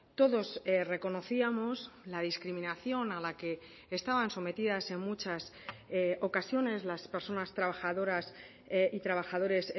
todos reconocíamos la discriminación a la que estaban sometidas en muchas ocasiones las personas trabajadoras y trabajadores